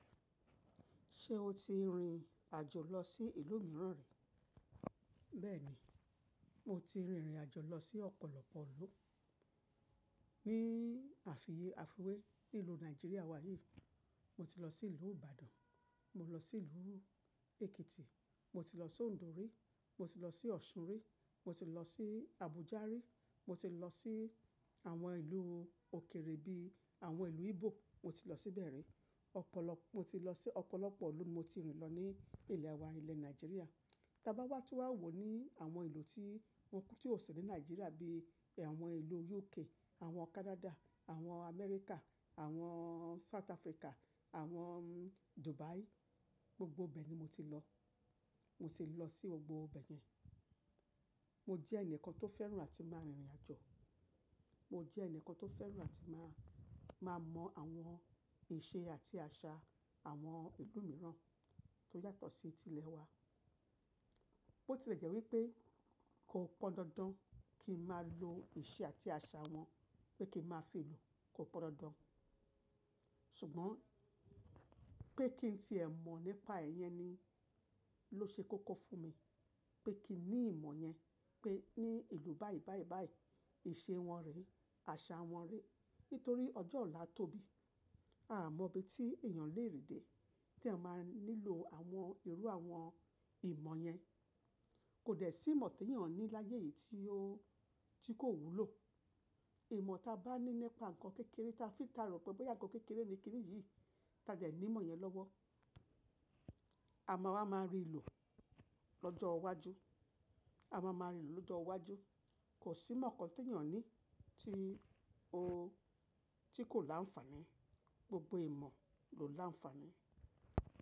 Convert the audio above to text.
Ṣé o ti rìn àjò lọ sí ìlú mìíràn rí? Bẹ́ẹ̀ni, mo ti rìnrìn àjò lọ sí ọ̀pọ̀lọpọ̀ ìlú, ní àfiwé ninú Nàìjíríà wa yìí. Mo ti lọ sí ìlú Ìbàdàn, mo lọ sí ìlú Èkìtì, mo ti lọ sí Òǹdó rí, mo ti lọ sí Ọ̀ṣun rí, mo ti lọ sí Àbújá rí, mo ti lọ sí àwọn ìlú òkèrè bí i àwọn ìlú Igbo, mo ti lọ síbẹ̀ rí. Ọ̀pọ̀lọ, mo ti lọ sí ọ̀pọ̀lọpọ̀ ìlú mo ti rìn lọ ní ilẹ̀ wa ilẹ̀ Nàìjíríà. Ta bá wá tú wá wò ní àwọn ìlú tí wọn kò ti ọ̀ si ní Nàìjíríà bí i àwọn ìlú UK, àwọn Canada, àwọn Amẹ́ríkà, àwọn South Africa, àwọn Dubai, gbogbo bẹ̀ ni mo ti lọ. Mo ti lọ sí gbogbo bẹ̀ yẹn. Mo jẹ́ ẹnìkan tó fẹ́ràn àti máa rìnrìn àjò. Mo jẹ́ ẹnìkan tó fẹ́ràn àti máa, máa mọ àwọn ìṣe àti àṣà àwọn ìlú mìíràn tó yàtọ̀ sí ti ilẹ̀ wa. Bó ti lè jẹ́ wípé kò pọn dandan kí n máa lo ìṣe àti àṣà wọn pé kí n máa fi lò, kò pọn dandan. Ṣùgbọ́n pé kí n tí ẹ̀ mọ̀ nípa ẹ̀ yẹn ni ló ṣe koko fún mi. Pé kí n ní ìmọ̀ yẹn pé ní ìlú báì báì báì, ìṣe wọn rè, àṣà wọn rè. Nítorí ọjọ́ ọ̀la tóbi a mọ ibi tí èèyàn lè rìn de tí èèyàn máa nílò àwọn irú àwọn ìmọ̀ yẹn. Kò dẹ̀ sí ìmọ̀ tí èèyàn ní láyé yìí tí ó, tí kò wúlò. Ìmọ̀ ta bá ní nípa nǹkan kékeré ta fi ta rọ̀ pé bóyá nǹkan kékeré ni kí nìyí, ta jẹ̀ ní ìmọ̀ yẹn lọ́wọ́. A má wá máa rì lo lọ́jọ́ iwájú. A máa máa rì lọ́jọ́ iwájú. Kò sí ìmọ̀ kan tí èèyàn ní tí ó, tí kò láǹfààní. Gbogbo ìmọ̀ lò láǹfààní.